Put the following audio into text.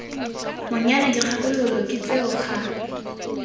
monyana dikgakololo ke tseo ga